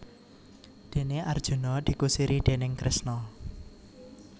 Déné Arjuna dikusiri déning Kresna